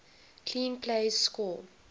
clean plays score